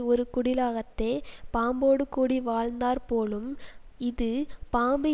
ஒரு குடிலகத்தே பாம்போடு கூடி வாழ்ந்தாற் போலும் இது பாம்பு